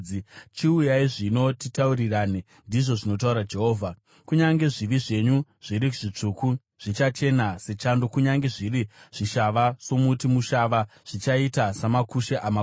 “Chiuyai zvino titaurirane,” ndizvo zvinotaura Jehovha. “Kunyange zvivi zvenyu zviri zvitsvuku zvichachena sechando; kunyange zviri zvishava somuti mushava, zvichaita samakushe amakwai.